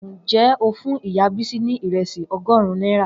Njẹ o fún ìyá Bisi ni iresi ọgọrun nera?